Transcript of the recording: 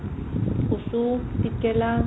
কচু, তিতকেৰেলা